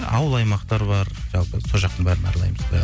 ауыл аймақтар бар жалпы сол жақтың бәрін аралаймыз құдай